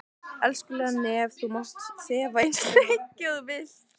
Elskulega nef þú mátt þefa eins lengi og þú vilt.